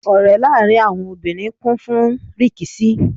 Ọ̀rẹ́ láàrín àwọn obìnrin kún fún rìkíṣí.